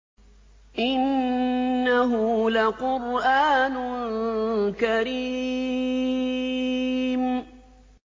إِنَّهُ لَقُرْآنٌ كَرِيمٌ